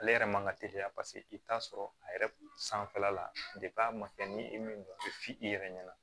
Ale yɛrɛ man ka teliya paseke i bɛ t'a sɔrɔ a yɛrɛ sanfɛla la a ma kɛ ni e min ye e f'i yɛrɛ ɲɛna